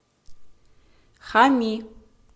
хами